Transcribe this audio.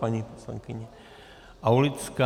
Paní poslankyně Aulická.